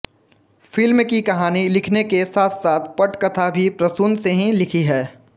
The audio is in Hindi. फ़िल्म की कहानी लिखने के साथसाथ पटकथा भी प्रसून ने ही लिखी है